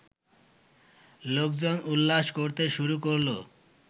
লোকজন উল্লাস করতে শুরু করলো